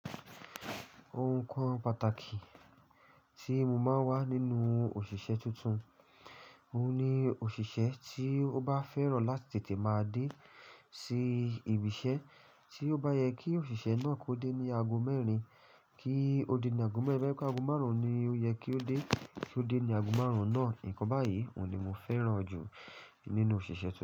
Ohunkóhun pàtàkì tí mo máa ń wà nínú òṣìṣẹ́ tuntun, òun ni òṣìṣẹ́ tí ó bá fẹ́ràn láti tètè máa dé sí ibi iṣẹ́. Tí ó bá yẹ kí òṣìṣẹ́ náà kó dé ní ago mẹ́rin, kí ó dé ní ago mẹ́rin toba yẹ pé ago márùn-ún ni ó yẹ kí ó dé, kí ó dé ní ago márùn-ún náà. Nkán bá yìí, òun ni mo fẹ́ràn jù nínú òṣìṣẹ́ tuntun.